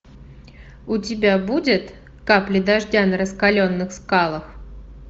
у тебя будет капли дождя на раскаленных скалах